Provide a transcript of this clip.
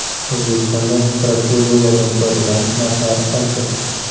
O‘zbekistonda protseduradan foydalanish narxlari qancha?